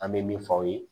An bɛ min fɔ aw ye